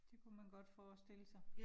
Det kunne man godt forestille sig